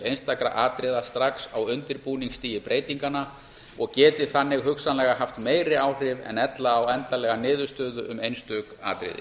einstakra atriða strax á undirbúningsstigi breytinganna og geti þannig hugsanlega haft meiri áhrif en ella á endanlega niðurstöðu um einstök atriði